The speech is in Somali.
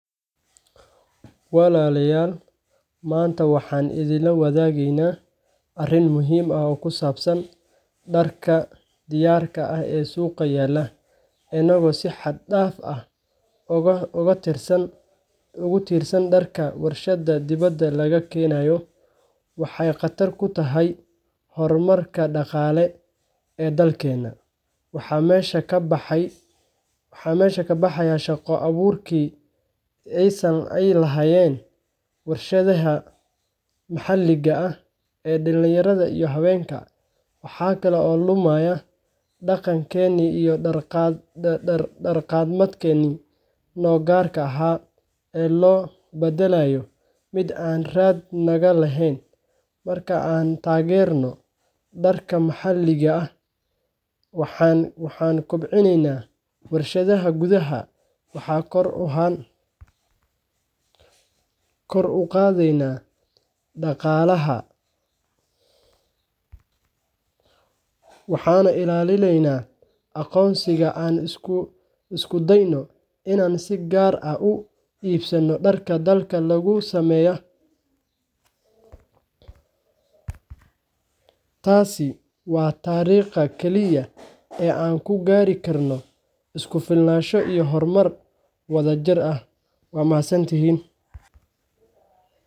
Walalayal manta waxan idin lawadagi arin muxiim ah oo kusabsan darka diyarka ah ee suqaa yala, amaba si had daf ah ogutirsan darka warsha dibada lagakenayo, waxay qatar kutahay hormarka daqalee ee dalkena, waxa mesha kabahaya shagada aburki ey lahayen warshadaha mahaliga ah ee dalinyarada iyo hawenka, waxa kale oo lumaya daqankeni iyo dar qadmedkeni, no gaarka aha ee lobadalayo mid aan raat lagalahen, marka an tagerno darka mahaliga ah waxan kobcineyna warshada gudaha waxa kor ugadeyna daqalaha, waxana ilalineyna aqoonsiga an iskudayno inan si gaar ah uu ibsano darka dadka gaar ah usameya, taasi wa tarigta kaliya an kugaarikarno iskufilnasho iyo hormar wadajir ah wad mahadsantihin.